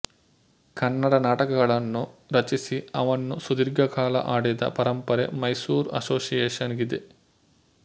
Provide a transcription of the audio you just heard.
ಕನ್ನಡ ನಾಟಕಗಳನ್ನು ರಚಿಸಿ ಅವನ್ನು ಸುದೀರ್ಘಕಾಲ ಆಡಿದ ಪರಂಪರೆ ಮೈಸೂರ್ ಅಸೋಸಿಯೇಷನ್ ಗಿದೆ